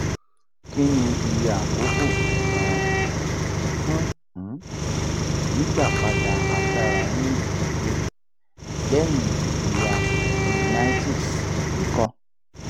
kini iye akoko um fun um gbigbapada agbara ririn deede lẹhin ijiya meningitis iko?